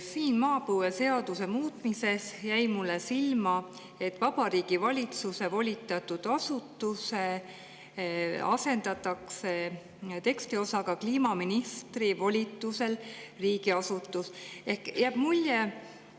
Siin maapõueseaduse muutmises jäi mulle silma, et "Vabariigi Valitsuse volitatud asutus" asendatakse tekstiosaga "kliimaministri volitusel riigiasutus, ".